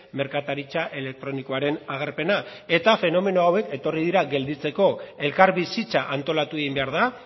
merkataritza elektronikoaren agerpena eta fenomeno hauek etorri dira gelditzeko elkarbizitza antolatu egin behar da